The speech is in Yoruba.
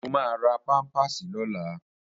Mo máa ra pámpàsì lọ́la